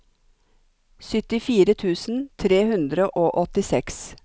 syttifire tusen tre hundre og åttiseks